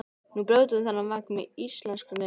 Nú brjótum við þennan vegg með íslenskri fyndni.